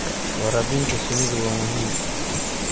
Waraabinta shinnidu waa muhiim.